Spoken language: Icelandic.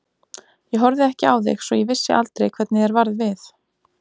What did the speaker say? Ég horfði ekki á þig svo ég vissi aldrei hvernig þér varð við.